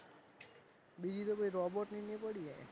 બીજી તો ભાઈ robot ની પડી છે.